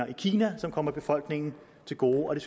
i kina som kommer befolkningen til gode